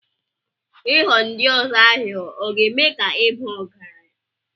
Ịghọ ndi ozo aghụghọ ọ̀ ga-eme ka ị baa ọgaranya?